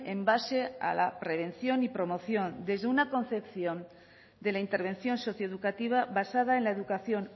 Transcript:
en base a la prevención y promoción desde una concepción de la intervención socioeducativa basada en la educación